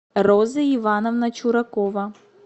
роза ивановна чуракова